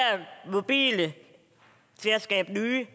mobile til at skabe nye